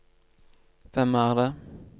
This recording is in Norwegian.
hvem er det